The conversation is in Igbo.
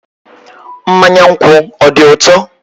Mmanya nkwu ọ dị ụtọ?